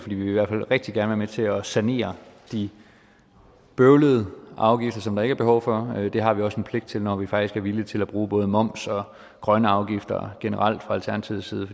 vi vil i hvert fald rigtig gerne til at sanere de bøvlede afgifter som der ikke er behov for det har vi også en pligt til når vi faktisk er villige til at bruge både moms og grønne afgifter generelt fra alternativets side